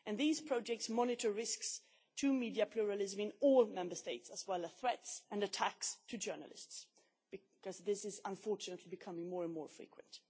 These projects monitor risks to media pluralism in all Member States, as well as threats to and attacks on journalists, which are is unfortunately becoming more and more frequent.